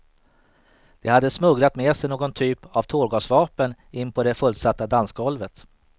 De hade smugglat med sig någon typ av tårgasvapen in på det fullsatta dansgolvet.